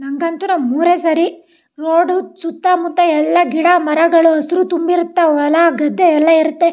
ನಂಗಂತು ನಮ್ಮ್ ಊರೆ ಸರಿ ರೋಡು ಸುತ್ತಮುತ್ತ ಎಲ್ಲಾ ಗಿಡಮರಗಳು ಹಸ್ರು ತುಂಬಿರತ್ವ್ ಹೊಲ ಗದ್ದೆ ಎಲ್ಲಾ ಇರುತ್ತೆ.